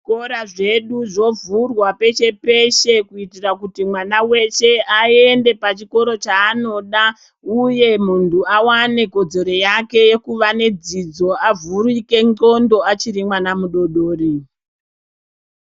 Zvikora zvedu zvo vhurwa peshe peshe kuitira kuti mwana weshe ayende pa chikoro chaanoda uye muntu awane kodzero yake yekuva ne dzidzo avhurike ndxondo achiri mwana mudodori.